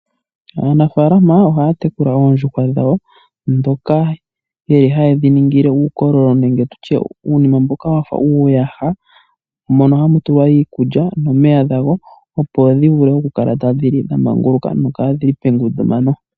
Aanafalama ohaya tekula oondjuhwa dhawo dhoka yeli haye dhiningile uukololo nenge tulye uunima mboka wafa uuyaha mono hamu tulwa iikulya nomeya gadho opo dhi vule okukala tadhi li dhamanguluka, nokadhili pengundumano.